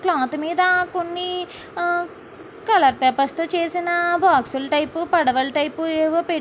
cloth మీద కొన్ని ఆ కలర్ పేపర్స్ తో చేసిన బాక్సు లు టైపు పడవలు టైపు అవి పె--